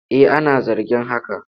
Eh ana zargin haka.